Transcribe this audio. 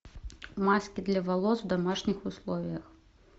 маски для волос в домашних условиях